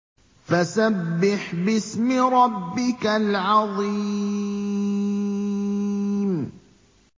فَسَبِّحْ بِاسْمِ رَبِّكَ الْعَظِيمِ